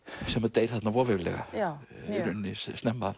deyr þarna voveiflega snemma